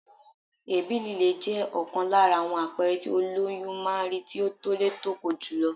Èébì lílé jẹ́ ọ̀kan lára àwọn àpẹẹrẹ tí ólóyún máa ń rí tí ó tólé tóko jùlọ.